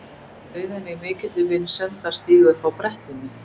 Bauð henni í mikilli vinsemd að stíga upp á brettið mitt.